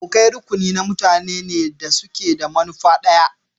Abokai rukuni na mutanen ne da ke da manufa ɗaya.